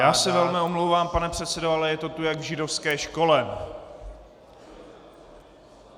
Já se velmi omlouvám, pane předsedo, ale je to tu jak v židovské škole.